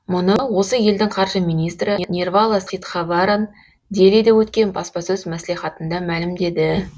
мұны осы елдің қаржы министрі нирвала ситхаваран делиде өткен баспасөз маслихатында мәлімдеді